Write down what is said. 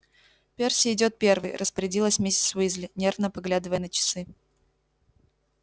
перси идёт первый распорядилась миссис уизли нервно поглядывая на часы